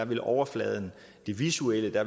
vil overfladen det visuelle